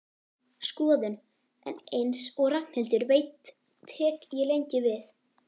Skoðun, en eins og Ragnhildur veit tek ég lengi við.